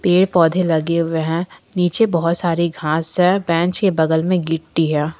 पेड़ पौधे लगे हुए हैं नीचे बहोत सारी घास है बेंच के बगल में गिट्टी है।